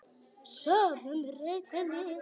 Sofnaði með rautt enni.